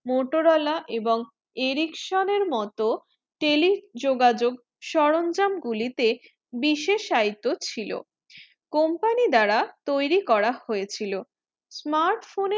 motorola এবং Ericsson মতুন tele যোগাযোগ সরঞ্জাম গুলি তে বিশেষায়িত ছিল company দ্বারা তয়রি করা হয়ে ছিল smart phone এর